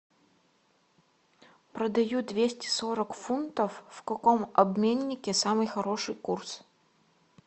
продаю двести сорок фунтов в каком обменнике самый хороший курс